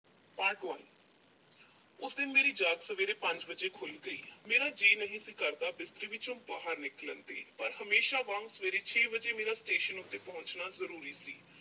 part one ਉਸ ਦਿਨ ਮੇਰੀ ਜਾਗ ਸਵੇਰੇ ਪੰਜ ਵਜੇ ਖੁੱਲ੍ਹ ਗਈ। ਮੇਰਾ ਜੀਅ ਨਹੀ ਸੀ ਕਰਦਾ ਬਿਸਤਰੇ ਵਿੱਚੋ ਬਾਹਰ ਨਿਕਲਣ ਨੂੰ, ਪਰ ਹਮੇਸ਼ਾ ਵਾਂਗ ਸਵੇਰੇ ਛੇ ਵਜੇ ਮੇਰਾ station ਉੱਤੇ ਪਹੁੰਚਣਾ ਜ਼ਰੂਰੀ ਸੀ।